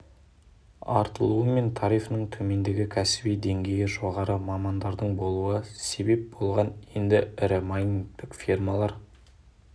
артылуы мен тарифінің төмендігі кәсіби деңгейі жоғары мамандардың болуы себеп болған енді ірі майнингтік фермалар